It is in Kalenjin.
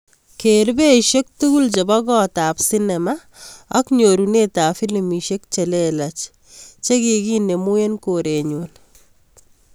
Ker beishek tugul chebo kot ab sinema ak nyorunetab filimishek che lelach chegiginemu en korenyu